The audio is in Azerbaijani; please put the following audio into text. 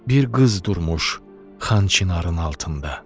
Bir qız durmuş xan çinarın altında.